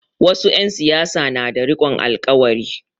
Wasu 'yan siyasa na da rikon alƙawari.